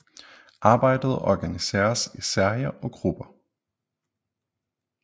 Arbejdet organiseres i Serier og Grupper